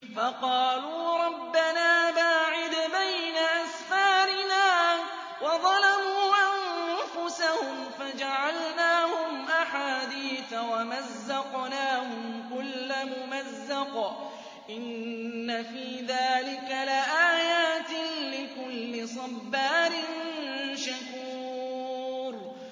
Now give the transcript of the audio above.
فَقَالُوا رَبَّنَا بَاعِدْ بَيْنَ أَسْفَارِنَا وَظَلَمُوا أَنفُسَهُمْ فَجَعَلْنَاهُمْ أَحَادِيثَ وَمَزَّقْنَاهُمْ كُلَّ مُمَزَّقٍ ۚ إِنَّ فِي ذَٰلِكَ لَآيَاتٍ لِّكُلِّ صَبَّارٍ شَكُورٍ